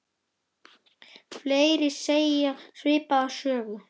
Fleiri segja svipaða sögu.